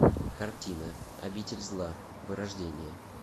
картина обитель зла вырождение